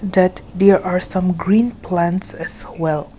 that there are some green plants as well.